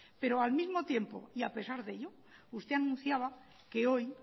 pero al mismo tiempo y a pesar de ello usted anunciaba que hoy